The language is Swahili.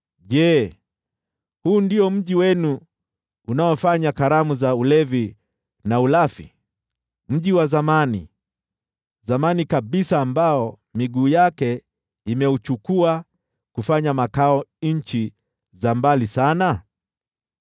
Je, huu ndio mji wenu uliojaa sherehe, mji wa zamani, zamani kabisa ambao miguu yake imeuchukua kufanya makao nchi za mbali sana?